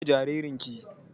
Ki goya jaririn ki!